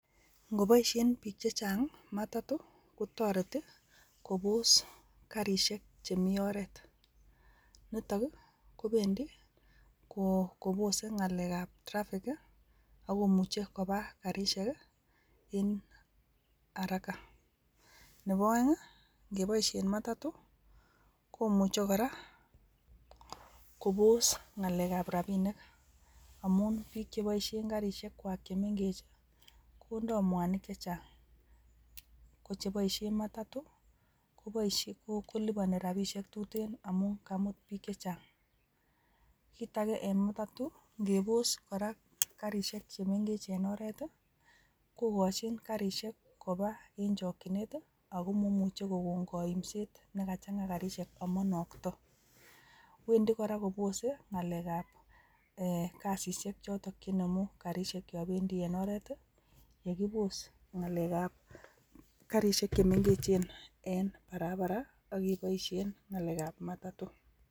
Ikoboishen bik chechang matato kotoreti kobos karishek chemii oret, nitok kii kobendii kobose ngalek ab traffic ak komuche koba karishe kii en haraka .Nebo oeng ingeboishen matato komuche koraa kobos ngalek ab rabinik amun bik cheboishen karishek kwa chemengechii kondoo mwanik che chang, ko cheboishen matato koliboni rabishek tuten amun kaimut bik che chang. Kit age en matatu ingeboskoraa karishek chemengech en oret tii kokochin karishek koba en chokinet tii ako moimuche koko koimset nekachanga karishek amoinokto, wendii koraakobose ngalek ab kasishek choton chenemu karishen yon bendii en oret yekibos ngalek ab karishek chemengechen en barabara ak keboishen ngalek ab matato.